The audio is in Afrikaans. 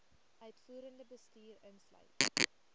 uitvoerende bestuur insluit